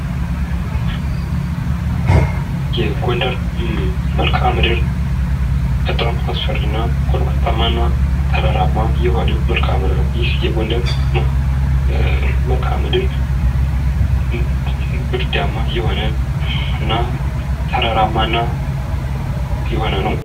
የጎንደር መልክዓ ምድር በጣም አስፈሪና ጎባጣማ የሆነ መልክዓ ምድር ነው። ይህ የጎንደር መልክዓ ምድር ብርዳማ የሆነና ተራራማ የሆነ ነው።